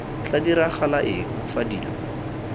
tla diragala eng fa dilo